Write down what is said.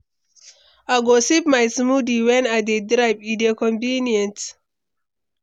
I go sip my smoothie wen I dey drive, e dey convenient.